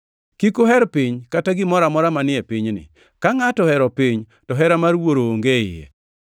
Kik uher piny kata gimoro amora manie pinyni. Ka ngʼato ohero piny, to hera mar Wuoro onge e iye.